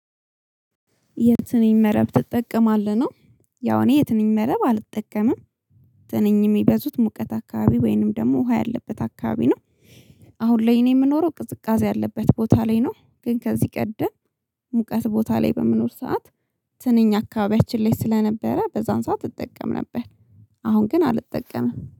የትንኝ መረብ ትጠቀማለህ? ነው ያው እኔ የትንኝ መረብ አልጠቀምም። ትንም የሚበዙት ሙቀት አካባቢ ወይንም ደግሞ ውሃ ያለበት አካባቢ ነው። አሁን ላይ እኔ የምኖረው ቅዝቃዜ ያለበት ቦታ ላይ ነው። ግን ከዚህ ቀደም ሙቀት ቦታ ላይ በምኖር ሰዓት ትንኝ አካባቢያችን ላይ ስለነበረ በዛን ሰዓት እጠቀም ነበር። አሁን ግን አልጠቀምም